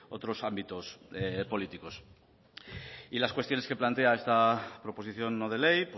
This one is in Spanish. otros ámbitos políticos y las cuestiones que plantea esta proposición no de ley